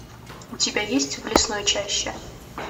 у тебя есть в лесной чаще